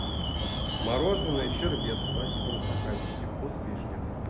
мороженое щербет в пластиковом стаканчике вкус вишня